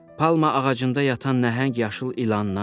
Palma ağacında yatan nəhəng yaşıl ilandan.